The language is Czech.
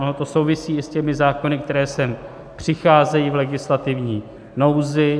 Ono to souvisí i s těmi zákony, které sem přicházejí v legislativní nouzi.